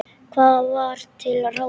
Hvað var til ráða?